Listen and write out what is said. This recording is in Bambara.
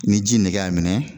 Ni ji nege y'a minɛ